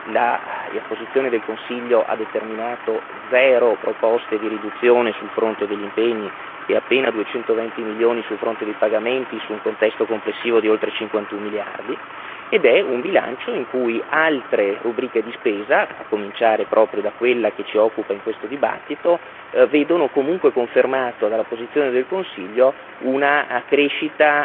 la posizione del Consiglio ha determinato zero proposte di riduzione sul fronte degli impegni e appena duecentoventi milioni sul fronte dei pagamenti, su un contesto complessivo di oltre cinquantun miliardi, ed è un bilancio in cui altre rubriche di spesa, a cominciare proprio da quella che ci occupa in questo dibattito, vedono comunque confermata dalla posizione del Consiglio una crescita